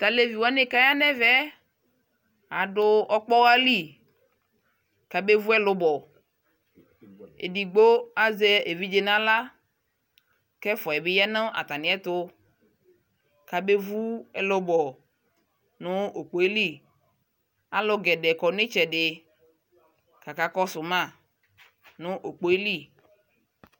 Taleviwani kayanɛvɛ adu ɔkpaɣali kabevuɛlubɔ edigbo azɛ eviɖʒe naɣla kɛfuayɛ bi yaa natamiɛtu kamevu ɛlubɔ nu ukpɔɛli alugɛdɛɛ kɔ nitsɛdi kakakɔsu ma nu ukpɔɛli